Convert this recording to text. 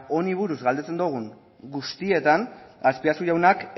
honi buruz galdetzen dogun guztietan azpiazu jaunak